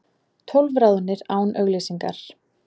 Tólf ráðnir án auglýsingar